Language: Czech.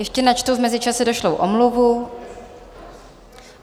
Ještě načtu v mezičase došlou omluvu.